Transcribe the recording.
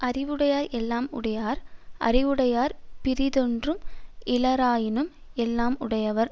அறிவுடையார் எல்லாம் உடையார் அறிவுடையார் பிறிதொன்றும் இலராயினும் எல்லாம் உடையராவர்